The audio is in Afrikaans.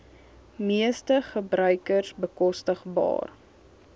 meeste gebruikers bekostigbaar